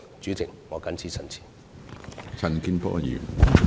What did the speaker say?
主席，我謹此陳辭。